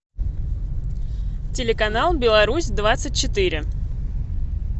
телеканал беларусь двадцать четыре